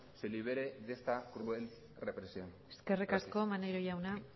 se libere de esta cruel represión gracias eskerrik asko maneiro jauna